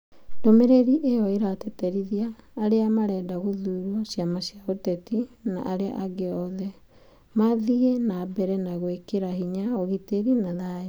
Ndũmĩrĩri ĩyo ĩratĩtĩrithĩra arĩa marenda gũthurwo, ciama cia ũteti na arĩa angĩ othe. Mathiĩ na mbere na gwĩkĩra hinya ũgitĩri na thayũ.